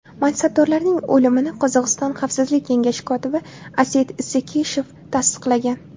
Mansabdorlarning o‘limini Qozog‘iston Xavfsizlik kengashi kotibi Aset Isekeshev tasdiqlagan .